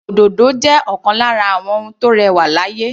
Òdòdó jẹ́ ọ̀kan lára àwọn ohun tó rẹwà láyé.